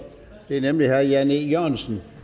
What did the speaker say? det er nemlig herre jan e jørgensen